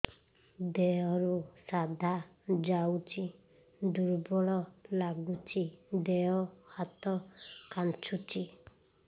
ଦେହରୁ ସାଧା ଯାଉଚି ଦୁର୍ବଳ ଲାଗୁଚି ଦେହ ହାତ ଖାନ୍ଚୁଚି